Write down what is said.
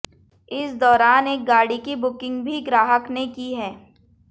इस दौरान एक गाड़ी की बुकिंग भी ग्राहक ने की है